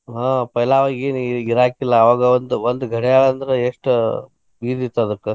ಹಾ पैला ಆವಾಗೇನ ಏನ ಏನ ಇರಾಕಿಲ್ಲಾ ಅವಾಗ ಒಂದ ಒಂದ ಗಡ್ಯಾಳ ಅಂದ್ರ ಎಷ್ಟ ಇದ ಇತ್ತ ಅದಕ್ಕ.